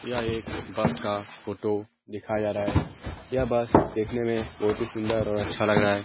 यह एक बस का फ़ोटो दिखाया जा रहा है। यह बस देखने में बहुत ही सुन्दर और अच्छा लग रहा है।